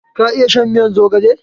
Ka iya shan miyan zogale?